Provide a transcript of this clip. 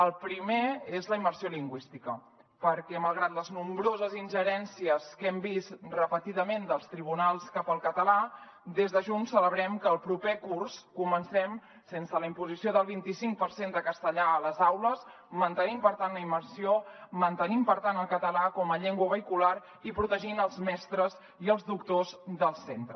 el primer és la immersió lingüística perquè malgrat les nombroses ingerències que hem vist repetidament dels tribunals cap al català des de junts celebrem que el proper curs comencem sense la imposició del vint i cinc per cent de castellà a les aules mantenint per tant la immersió mantenint per tant el català com a llengua vehicular i protegint els mestres i els doctors del centre